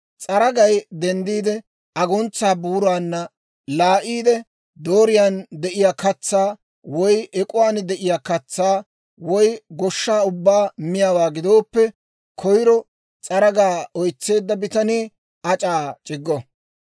«S'aragay denddiide aguntsaa buuraanna laa'iide, dooriyaan de'iyaa katsaa, woy ek'uwaan de'iyaa katsaa, woy goshshaa ubbaa miyaawaa gidooppe, koyro s'aragaa oytseedda bitanii ac'aa c'iggo.